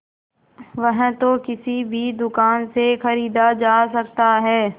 वह तो किसी भी दुकान से खरीदा जा सकता है